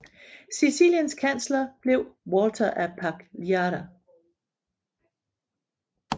Siciliens kansler blev Walter af Pagliara